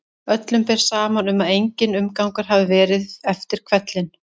Öllum ber saman um að enginn umgangur hafi verið eftir hvellinn.